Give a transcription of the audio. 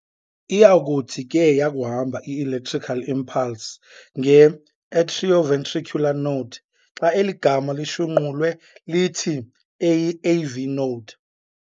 Iyakuthi ke yakuhamba i-electrical impulse nge-"atrio-ventricular node". Xa eli gama lishunqulwe lithi- eyi-AV Node.